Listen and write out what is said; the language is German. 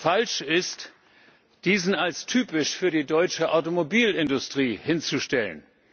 Falsch ist, diesen als typisch für die deutsche Automobilindustrie hinzustellen.